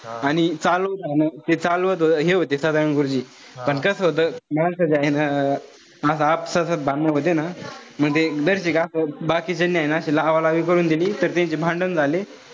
आणि जे चालू हे होते सदानंद गुरुजी पण कस होत. माणसाचं हाय ना असं आपसासत भांडण व्हते ना. म्हणजे असं बाकीच्यांनी हाये ना अशी लावालावी करून त त्याहीचे भांडण झाले.